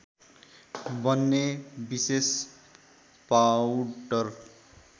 बन्ने विशेष पाउडर